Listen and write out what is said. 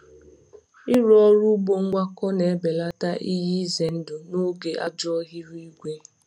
Ịrụ ọrụ ugbo ngwakọ na-ebelata ihe ize ndụ n’oge ajọ ihu igwe.